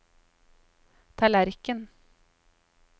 tallerken